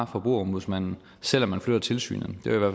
forbrugerombudsmanden selv om man flytter tilsynet det var